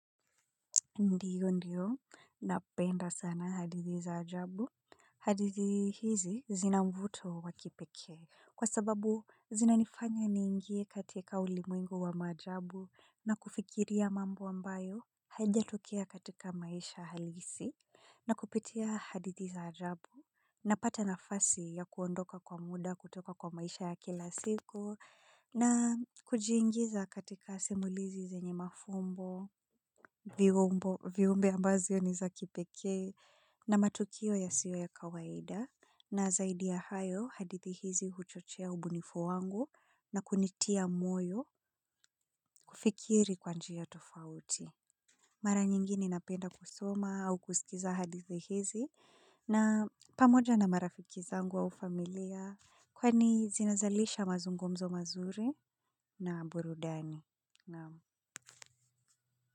Ndiyo ndiyo. Napenda sana hadithi za ajabu. Hadithi hizi zina mvuto wa kipekee. Kwa sababu zinanifanya niingie katika ulimwengu wa maajabu na kufikiria mambo ambayo hayajatokea katika maisha halisi na kupitia hadithi za ajabu na pata nafasi ya kuondoka kwa muda kutoka kwa maisha ya kila siku na kujiingiza katika simulizi zenye mafumbo. Viumbe ambazo ni za kipekee na matukio yasiyo ya kawaida na zaidi ya hayo hadithi hizi huchochea ubunifu wangu na kunitia moyo kufikiri kwa njia tofauti. Mara nyingini napenda kusoma au kusikiza hadithi hizi na pamoja na marafiki zangu au familia kwani zinazalisha mazungomzo mazuri na burudani.